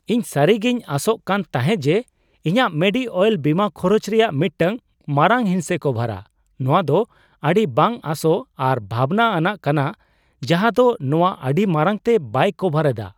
ᱤᱧ ᱥᱟᱹᱨᱤᱜᱤᱧ ᱟᱥᱚᱜ ᱠᱟᱱ ᱛᱟᱦᱮᱸ ᱡᱮ ᱤᱧᱟᱹᱜ ᱢᱮᱰᱤᱼᱳᱭᱮᱞ ᱵᱤᱢᱟᱹ ᱠᱷᱚᱨᱚᱪ ᱨᱮᱭᱟᱜ ᱢᱤᱫᱴᱟᱝ ᱢᱟᱨᱟᱝ ᱦᱤᱸᱥᱮ ᱠᱚᱵᱷᱟᱨᱟ ᱾ᱱᱚᱶᱟ ᱫᱚ ᱟᱹᱰᱤ ᱵᱟᱝ ᱟᱥᱚᱜ ᱟᱨ ᱵᱷᱟᱵᱱᱟ ᱟᱱᱟᱜ ᱠᱟᱱᱟ ᱡᱟᱦᱟᱸ ᱫᱚ ᱱᱚᱶᱟ ᱟᱹᱰᱤ ᱢᱟᱨᱟᱝᱛᱮ ᱵᱟᱭ ᱠᱟᱵᱷᱟᱨ ᱮᱫᱟ ᱾